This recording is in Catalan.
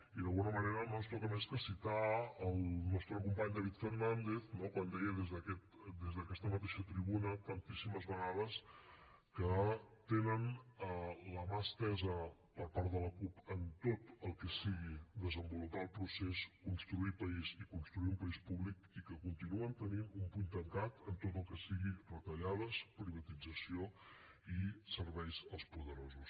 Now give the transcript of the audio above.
i d’alguna manera no ens toca més que citar el nostre company david fernàndez quan deia des d’aquesta mateixa tribuna tantíssimes vegades que tenen la mà estesa per part de la cup en tot el que sigui desenvolupar el procés construir país i construir un país públic i que continuen tenint un puny tancat en tot el que siguin retallades privatització i serveis als poderosos